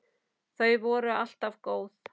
Þau voru alltaf góð.